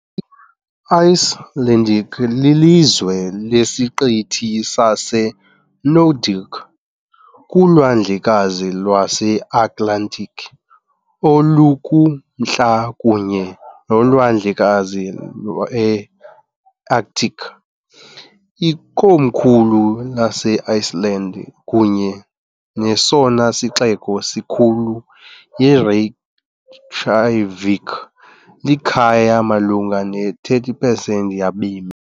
Icelandic lilizwe lesiqithi saseNordic kuLwandlekazi lweAtlantiki olukuMntla kunye noLwandlekazi lweArctic. Ikomkhulu laseIceland kunye nesona sixeko sikhulu yiReykjavík, elikhaya malunga ne-30 pesenti yabemi.